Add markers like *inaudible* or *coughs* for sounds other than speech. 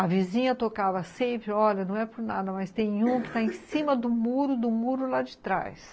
A vizinha tocava sempre, olha, não é por nada, mas tem um que está *coughs* em cima do muro, do muro lá de trás.